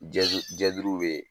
Jɛdu jɛduruw be